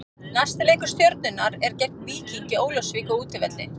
Næsti leikur Stjörnunnar er gegn Víkingi Ólafsvík á útivelli.